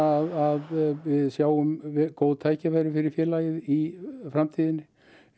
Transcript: að við sjáum góð tækifæri fyrir félagið í framtíðinni